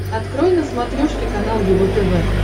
открой на смотрешке канал его тв